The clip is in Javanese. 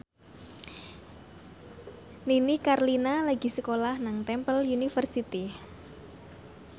Nini Carlina lagi sekolah nang Temple University